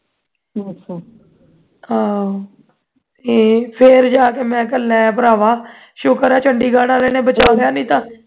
ਆਹ ਤੇ ਫੇਰ ਜਾ ਕੇ ਮੈਂ ਕਿਹਾ ਲੈ ਭਰਾਵਾ ਸ਼ੁਕਰ ਐ chandigarh ਵਾਲੇ ਨੇ ਬਚਾ ਲਿਆ ਨਹੀਂ ਤਾਂ